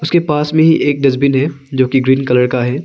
उसके पास में ही एक डस्टबिन है जो कि ग्रीन कलर का है।